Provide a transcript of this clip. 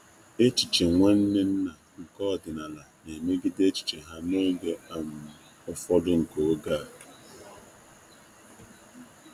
Echiche Nwanne nna nke ọdịnala na-emegide echiche ha n'oge echiche ha n'oge ufọdu nke oge a.